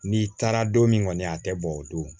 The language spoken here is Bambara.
N'i taara don min kɔni a tɛ bɔ o don